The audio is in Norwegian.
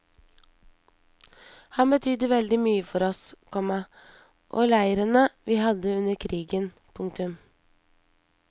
Han betydde veldig mye for oss, komma og leirene vi hadde under krigen. punktum